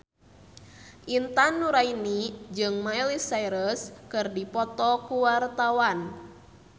Intan Nuraini jeung Miley Cyrus keur dipoto ku wartawan